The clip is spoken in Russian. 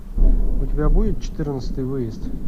у тебя будет четырнадцатый выезд